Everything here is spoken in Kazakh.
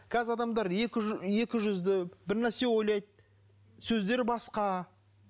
қазір адамдар екі жүзді бірнәрсе ойлайды сөздері басқа